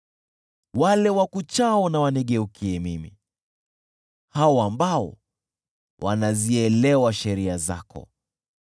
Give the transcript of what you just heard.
Wale wakuchao na wanigeukie mimi, hao ambao wanazielewa sheria zako.